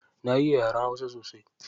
Na iya hausa sosai.